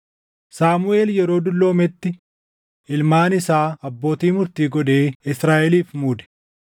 Saamuʼeel yeroo dulloometti ilmaan isaa abbootii murtii godhee Israaʼeliif muude.